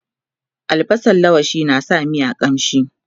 albasan laushi na sa miya ƙamshi